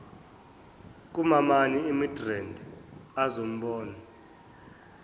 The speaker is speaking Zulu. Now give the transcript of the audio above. kumamami emidrand azombona